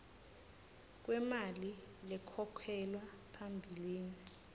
kwemali lekhokhelwa phambilini